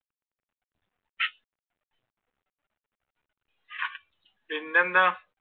പിന്നെന്താ?